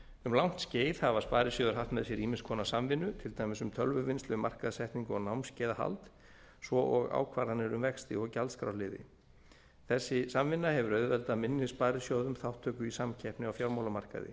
um langt skeið hafa sparisjóðir haft með sér ýmiss konar samvinnu til dæmis um tölvuvinnslu markaðssetningu og námskeiðahald svo og ákvarðanir um vexti og gjaldskrárliði þessi samvinna hefur auðveldað minni sparisjóðum þátttöku í samkeppni á fjármálamarkaði